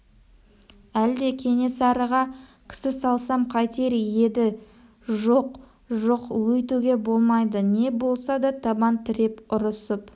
әлде кенесарыға кісі салсам қайтер еді жоқ жоқ өйтуге болмайды не болса да табан тіреп ұрысып